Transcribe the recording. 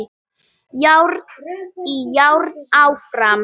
Járn í járn áfram